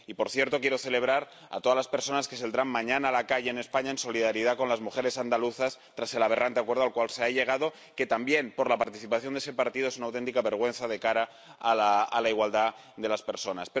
Y, por cierto, quiero felicitar a todas las personas que saldrán mañana a la calle en España ―en solidaridad con las mujeres andaluzas― tras el aberrante acuerdo al cual se ha llegado, que también por la participación de ese partido es una auténtica vergüenza de cara a la igualdad de las personas.